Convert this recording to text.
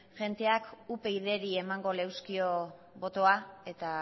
jendeak upydri emango leuzkio botoa eta